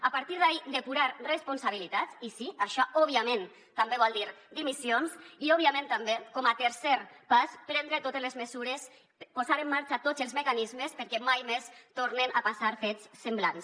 a partir d’aquí depurar responsabilitats i sí això òbviament també vol dir dimissions i òbviament també com a tercer pas prendre totes les mesures posar en marxa tots els mecanismes perquè mai més tornen a passar fets semblants